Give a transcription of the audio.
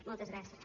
moltes gràcies